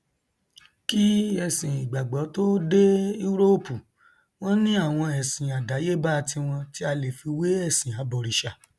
kí ẹsìn ìgbàgbọ tó dé úróòpù wọn ní àwọn ẹsìn àdáyébá tiwọn tí a lè fi wé ẹsìn abọrìṣà